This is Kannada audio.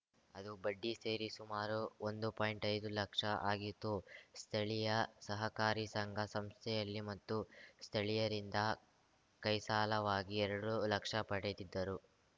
ಅದು ಬಡ್ಡಿ ಸೇರಿ ಸುಮಾರು ಒಂದು ಪಾಯಿಂಟ್ಐದು ಲಕ್ಷ ಆಗಿತ್ತು ಸ್ಥಳೀಯ ಸಹಕಾರಿ ಸಂಘ ಸಂಸ್ಥೆಯಲ್ಲಿ ಮತ್ತು ಸ್ಥಳೀಯರಿಂದ ಕೈಸಾಲವಾಗಿ ಎರಡು ಲಕ್ಷ ಪಡೆದಿದ್ದರು